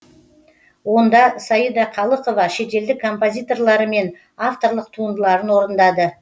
онда саида қалықова шетелдік композиторлары мен авторлық туындыларын орындады